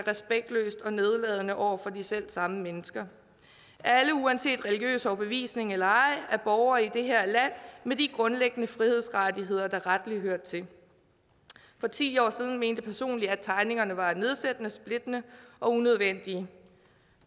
respektløst og nedladende over for de selv samme mennesker alle uanset religiøs overbevisning eller ej er borgere i det her land med de grundlæggende frihedsrettigheder der rettelig hører til for ti år siden mente jeg personligt at tegningerne var nedsættende splittende og unødvendige